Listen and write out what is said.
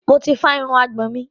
Mo ti fá irun àgbọ̀n mi.